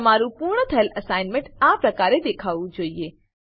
તમારું પૂર્ણ થયેલ એસાઈનમેંટ આ પ્રકારે દેખાવું જોઈએ